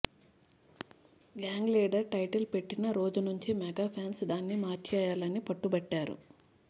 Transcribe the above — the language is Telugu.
గ్యాంగ్ లీడర్ టైటిల్ పెట్టిన రోజు నుంచి మెగా ఫ్యాన్స్ దాన్ని మార్చేయాలని పట్టుబట్టారు